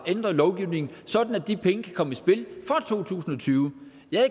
ændre lovgivningen sådan at de penge kan komme i spil fra to tusind og tyve jeg